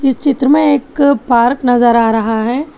इस चित्र में एक पार्क नजर आ रहा है।